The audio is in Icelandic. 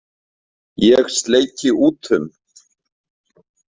Ég sleiki út um.